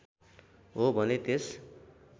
हो भने त्यस